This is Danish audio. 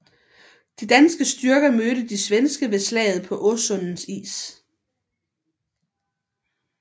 De danske styrker mødte de svenske ved slaget på Åsundens is